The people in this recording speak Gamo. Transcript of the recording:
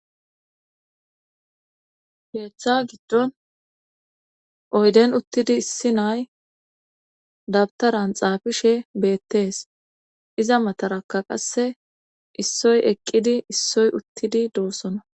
Geechcha giddon oyden uttidi issi nay dabtaran xaafishe beettes iza matarakka qasse issoy eqqidi issoy uttidi doossona.